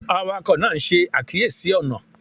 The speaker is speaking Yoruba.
Awakọ naa n ṣe akiyesi ọna